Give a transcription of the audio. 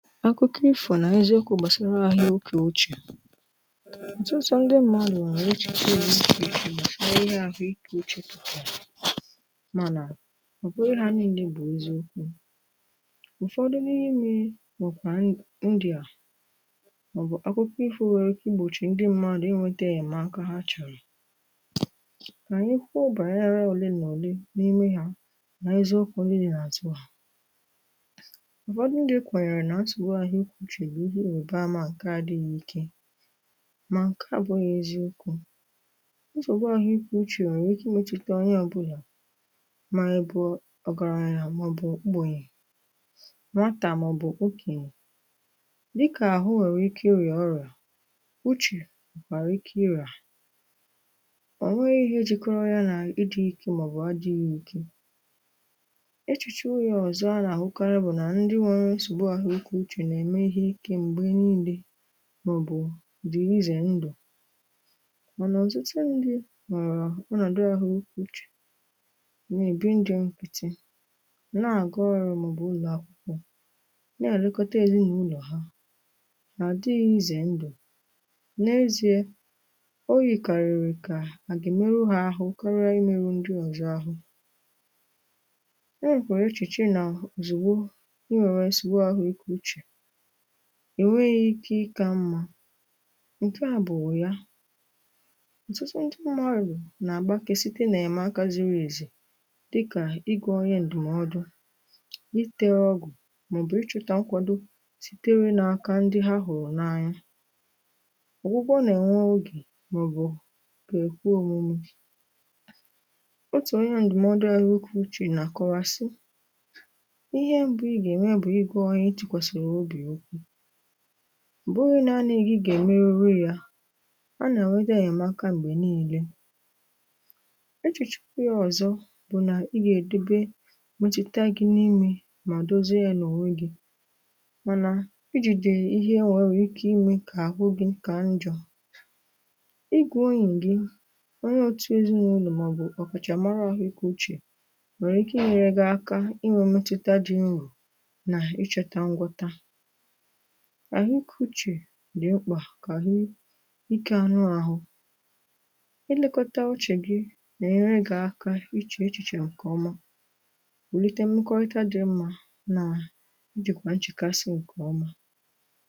akụkọ ifo na n'ezi ọkụ gbasara ahịa okè uche otutu ndị mmadụ̀ nwechagoro ahịa na ihe ahụike uche mana ọ bụghị ha niile bụ̀ eziokwu ụ̀fọdụ n’ime bukwà ndị a maọbụ̀ akụkọ ifo nwere kiigbochì ndị mmadụ̀ inwėte enyemaka ha chọ̀rọ̀ kà anyị kwụọ bànyere òlemà òle n’ime ha na-ezi ụkwụ niile nà àtụ hà ụfọdụ ndi kwenyere na nsogbu ahuike uche bụ̀ ihe òbea mà ǹkè adị̇ghị̇ ike mà ǹkè abụ̇ghị̇ eziokwu̇ nsogbu ahuike uche nwere ike ịmetuta onye obuna ma ịbu ogaranya ma ọbụ ogbenye nwata ma ọbụ okenye dịka ahụ nwere ike iria orịa uchè nwèkwàrà ike iria ọ nweghị̇ ihe jìkọrọ ya nà ịdị̇ ike mà ọ̀ bụ̀ adị̇ghị̇ ike echùchè unyà ọ̀zọ à nà àhụkarị bụ̀ nà ndị nwėrė nsogbu ahuike uche nà-ème ihe ikė m̀gbe niilė màọbụ̀ dì izè ndụ̀ mà nà ọ̀tụtụ ndị nọ̀rọ̀ ụnọ̀dụ ahụ ukwu uchè nà-èbi ndị nkiti na-àga ọrụ màọbụ̀ ụlọ̀akwụkwọ na-àlekọta ezinàụlọ̀ ha nà-àdịghị izè ndụ̀ n’ezie o yìkàrịrị kà àgà meru ha ahụ karịa imerụ ndị ọ̀zọ ahụ enwekwara echìchì nà zìgbo i nwèrè nsogbu ahụ ikė uchè enweghị ike ịkȧ m nkeà bu ugha ọtụtụ ndi mmadu nà-àgba ke site nà-ème aka ziri èzì dịkà igȯ onye ǹdụ̀mọdụ itėrȧ ọgụ̀ mà ọ̀ bụ̀ ichọ̇tȧ nkwàdò sitere n’aka ndị ha hụ̀rụ̀ n’anya ọ̀gwụgwọ nà-ènwe ogè màọbụ̀ kwekwu òmume ubi otù onye ǹdụ̀mọdụ ahụ ike uche na akọwa sị ihe mbu iga eme bụ ịgwa onye ịtukwa sara obi okwu ọbughi naanị gị gà-emeru ru ya a nà nwedà enyemaka m̀gbè niilė echìchukwu ya ọ̀zọ bụ̀ nà ị gà-èdebe metùta gị n’imė mà dozie ya nà ọ̀nwe gị̇ mànà ị jìde ihe nwèrè ị kà imė kà àhụ gị nkà njọ̇ ị gùoyì gị onye otu ezinàụlọ̀ màọbụ̀ ọkàkàchà mara ahụ̀ ịkù uchè nwèrè ike inyėrė gị aka ị nwė metùta dị nrù na ị chọ̇ta ngwọta àhụ ikė uche dị mkpa ka ike anụ ahụ̇ i lekọtà ọchị̀ gị ga enyere gi aka ichè echìchè ǹkè ọma wùlite mmekọrịta dị mmȧ nà i jìkwà nchèkasị̇ ǹkè ọma